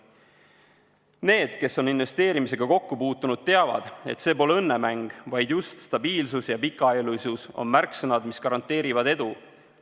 Need, kes on investeerimisega kokku puutunud, teavad, et see pole õnnemäng, vaid just stabiilsus ja pikaajalisus on märksõnad, mis garanteerivad edu.